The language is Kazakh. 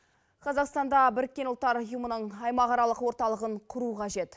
қазақстанда біріккен ұлттар ұйымының аймақаралық орталығын құру қажет